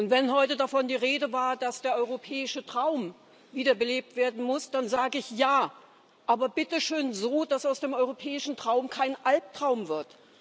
Wenn heute davon die Rede war, dass der europäische Traum wiederbelebt werden muss, dann sage ich Ja, aber bitte schön so, dass aus dem europäischen Traum kein Albtraum wird.